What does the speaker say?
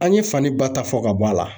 An ye fani ba ta fɔ ka bɔ a la.